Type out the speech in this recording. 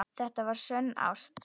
Það var sönn ást.